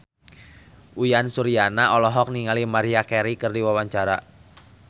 Uyan Suryana olohok ningali Maria Carey keur diwawancara